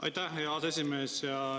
Aitäh, hea aseesimees!